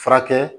Furakɛ